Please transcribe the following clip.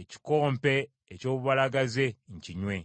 ekikompe eky’obubalagaze nkinywe.